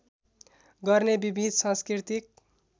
गर्ने विविध सांस्कृतिक